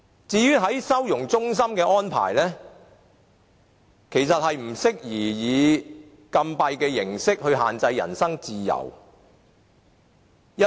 至於收容中心的安排，其實不適宜以禁閉的形式限制人身自由。